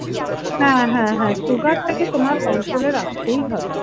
হ্যাঁহ্যাঁ হ্যাঁ সুগারটাকে তোমার কন্ট্রোলে রাখতেই হবে।